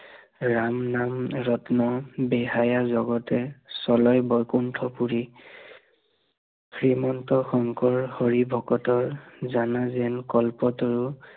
ৰাম নাম ৰত্ন বিহায়া জগতে, চলে বৈকুন্ঠ পুৰি শ্ৰীমন্ত শংকৰ হৰি ভকতৰ, জানা যেন কল্পতৰু